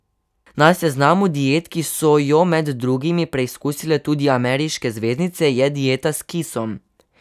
Na seznamu diet, ki so jo med drugim preizkusile tudi ameriške zvezdnice, je dieta s kisom.